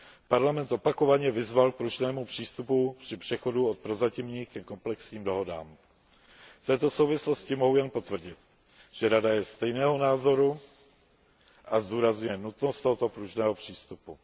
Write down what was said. Parlament opakovaně vyzval k pružnému přístupu při přechodu od prozatímních ke komplexním dohodám. V této souvislosti mohu jen potvrdit, že Rada je stejného názoru a zdůrazňuje nutnost tohoto pružného přístupu.